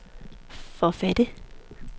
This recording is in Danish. forfattere